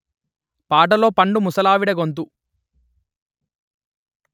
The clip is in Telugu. పాటలో పండు ముసలావిడ గొంతు